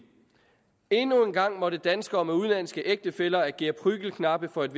endnu en gang måtte danskere med udenlandske ægtefæller agere prügelknabe for et